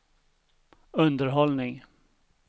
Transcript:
underhållning